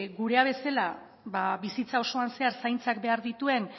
gurea bezala bizitza osoan zehar zaintzak behar dituen